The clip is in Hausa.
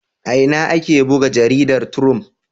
A ina ake buga jaridar Triump?